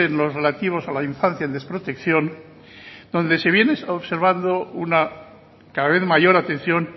los relativos a la infancia en desprotección donde se viene observando una cada vez mayor atención